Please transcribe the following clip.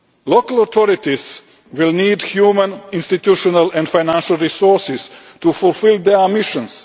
Local authorities will need human, institutional and financial resources to fulfil their missions.